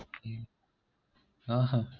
ஆஹான் ஆஹ்